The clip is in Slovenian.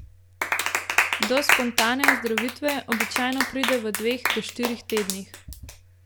Do spontane ozdravitve običajno pride v dveh do štirih tednih.